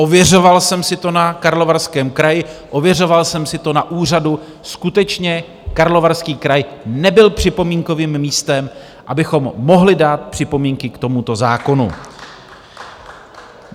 Ověřoval jsem si to na Karlovarském kraji, ověřoval jsem si to na úřadu, skutečně, Karlovarský kraj nebyl připomínkovým místem, abychom mohli dát připomínky k tomuto zákonu.